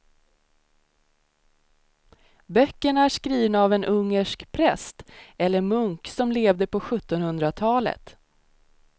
Böckerna är skrivna av en ungersk präst eller munk som levde på sjuttonhundratalet.